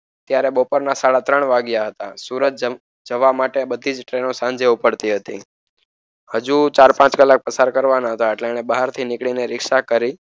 ત્યારે બપોરના સાડા ત્રણ વાગ્યા હતા. સુરત જવા માટે બધી જ ટ્રેનો સાંજે ઉપડતી હતી. હજુ ચાર પાંચ કલાક પસાર કરવાના હતા એટલે એને બહારથી નીકળીને રીક્ષા કરી.